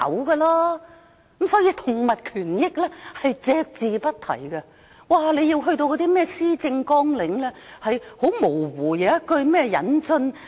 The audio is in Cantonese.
所以她就動物權益隻字不提，只在施政綱領裏有模糊的一句：引入......